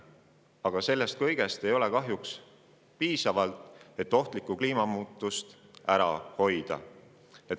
Aga see kõik ei ole kahjuks piisav, et ohtlikku kliimamuutust ära hoida.